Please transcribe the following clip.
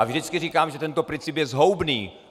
A vždycky říkám, že tento princip je zhoubný.